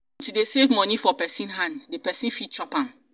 e no good to dey save money for pesin hand. di pesin fit chop am.